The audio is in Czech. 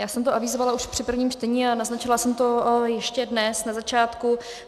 Já jsem to avizovala už při prvním čtení a naznačila jsem to ještě dnes na začátku.